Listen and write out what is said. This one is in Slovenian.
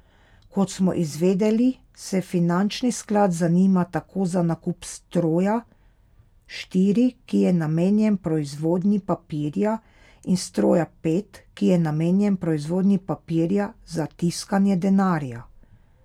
Kot smo izvedeli, se finančni sklad zanima tako za nakup stroja štiri, ki je namenjen proizvodnji papirja, in stroja pet, ki je namenjen proizvodnji papirja za tiskanje denarja.